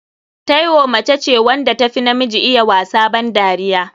Taiwo mace ce wanda tafi namiji iya wasa ban dariya.